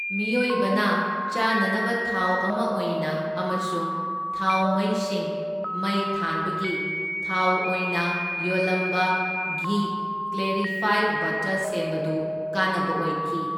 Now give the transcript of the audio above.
ꯃꯤꯑꯣꯏꯕꯅ ꯆꯥꯅꯅꯕ ꯊꯥꯎ ꯑꯃ ꯑꯣꯏꯅ ꯑꯃꯁꯨꯡ ꯊꯥꯎꯃꯩꯁꯤꯡ ꯃꯩ ꯊꯥꯟꯕꯒꯤ ꯊꯥꯎ ꯑꯣꯏꯅ ꯌꯣꯜꯂꯝꯕ ꯘꯤ ꯀ꯭ꯂꯦꯔꯤꯐꯥꯏꯗ ꯕꯠꯇꯔ ꯁꯦꯝꯕꯗꯨ ꯀꯥꯟꯅꯕ ꯑꯣꯏꯈꯤ꯫